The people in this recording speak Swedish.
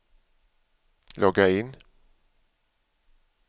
logga in